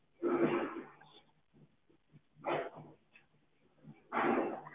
sir Srisht courierservice ਵਿਚ ਤੁਹਾਡਾ ਸਵਾਗਤ ਹੈ ਮੇਰਾ ਨਾਮ ਬੰਤ